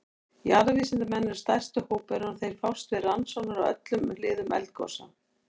Jarðvísindamenn eru stærsti hópurinn og þeir fást við rannsóknir á öllum hliðum eldgosa.